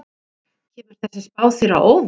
Kemur þessi spá þér á óvart?